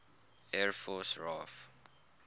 air force raaf